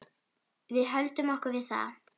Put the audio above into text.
Við höldum okkur við það.